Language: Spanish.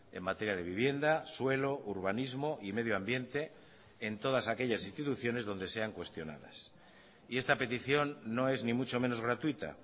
en materia de vivienda suelo urbanismo y medio ambiente en todas aquellas instituciones donde sean cuestionadas y esta petición no es ni mucho menos gratuita